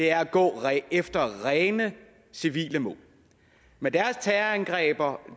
er at gå efter rene civile mål med deres terrorangreb